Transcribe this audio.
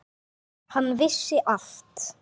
Hann vissi allt.